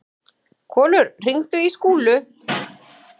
Kolur, hringdu í Skúlu.